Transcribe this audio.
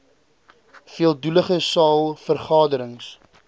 veeldoelige saal vergaderings